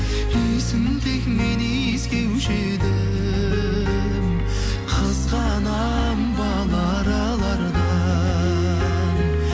иісін тек мен иіскеуші едім қызғанамын бал аралардан